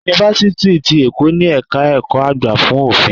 Yunifásítì ti Èkó ni ẹ̀ka ẹ̀kọ́ àgbà fún Òfin.